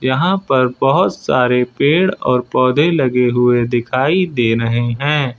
यहां पर बहोत सारे पेड़ और पौधे लगे हुए दिखाई दे रहे हैं।